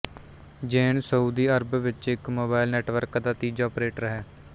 ਜ਼ੇਨ Saudi Arab ਵਿੱਚ ਇੱਕ mobile network ਦਾ ਤੀਜਾ ਓਪਰੇਟਰ ਹੈ